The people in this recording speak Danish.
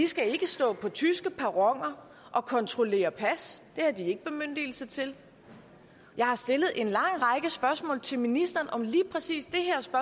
skal stå på tyske perroner og kontrollere pas det har de ikke bemyndigelse til jeg har stillet en lang række spørgsmål til ministeren om lige præcis det